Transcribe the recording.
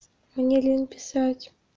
мне лень писать